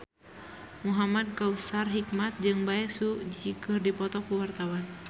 Muhamad Kautsar Hikmat jeung Bae Su Ji keur dipoto ku wartawan